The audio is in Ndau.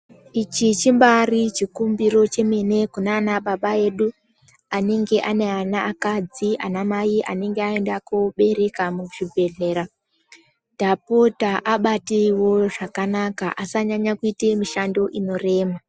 Ichi chibari chikumbiro chemene kunana baba edu anenge ane ana akadzi, nemadzimai anenge ayenda kobereka muzvibhehlera, tapota abateyiwo zvakanaka asanyanya kuita mushando inorema.